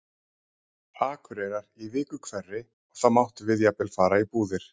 Akureyrar í viku hverri og þá máttum við jafnvel fara í búðir.